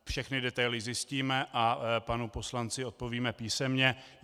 Všechny detaily zjistíme a panu poslanci odpovíme písemně.